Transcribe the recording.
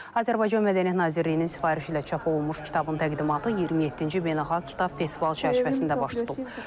Azərbaycan Mədəniyyət Nazirliyinin sifarişi ilə çap olunmuş kitabın təqdimatı 27-ci beynəlxalq kitab festivalı çərçivəsində baş tutub.